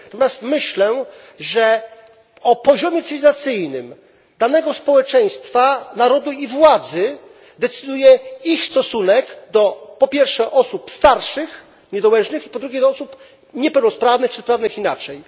Natomiast myślę, że o poziomie cywilizacyjnym danego społeczeństwa, narodu i władzy decyduje jego stosunek do, po pierwsze, osób starszych, niedołężnych i, po drugie, do osób niepełnosprawnych czy sprawnych inaczej.